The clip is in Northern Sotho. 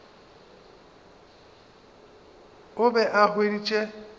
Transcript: o be a e hweditše